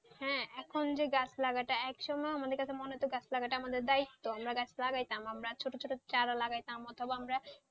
হ্যাঁ এখন যে গাছ লাগানোটা এক সময় আমাদের কাছে মনে হতো গাছ লাগানো টা আমাদের দায়িত্বআমরা গাছ লাগাতাম আমরা ছোট ছোট চারা লাগাতাম অথবা আমরা,